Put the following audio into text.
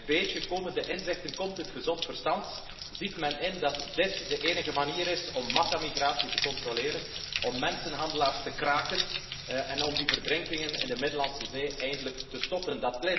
Stukje bij beetje komen de inzichten, komt het gezond verstand, ziet men in dat dit de enige manier is om massamigratie te controleren, om mensenhandelaars te kraken, en om die verdrinkingen in de Middellandse Zee eindelijk te stoppen.